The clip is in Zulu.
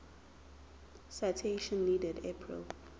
citation needed april